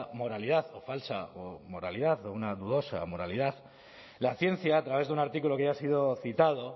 moralidad o falsa o una dudosa moralidad la ciencia a través de un artículo que ya ha sido citado